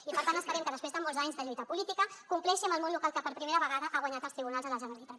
i per tant esperem que després de molts anys de lluita política compleixi amb el món local que per primera vegada ha guanyat als tribunals la generalitat